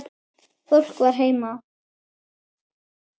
Fólk var heima.